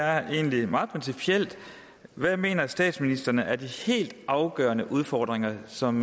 er egentlig meget principielt hvad mener statsministeren er de helt afgørende udfordringer som